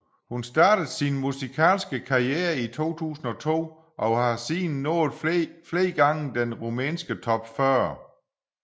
Hun startede sin musikalske karriere i 2002 og har siden nået flere gange den rumænske top 40